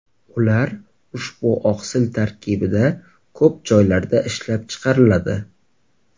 Ular ushbu oqsil tarkibida ko‘p joylarda ishlab chiqariladi.